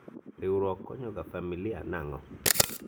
riwruok konyo ga familia nang'o ?